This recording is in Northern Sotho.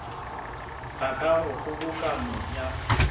ga ka go kgobokano ya